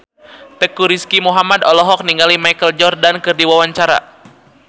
Teuku Rizky Muhammad olohok ningali Michael Jordan keur diwawancara